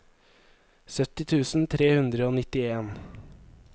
sytti tusen tre hundre og nittien